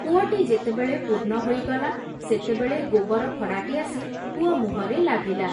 କୂଅଟି ଯେତେ ବେଳେ ପୂର୍ଣ୍ଣ ହୋଇଗଲା, ସେତେବେଳେ ଗୋବର ଫଡ଼ାଟି ଆସି କୂଅ ମୁଁହରେ ଲାଗିଲା ।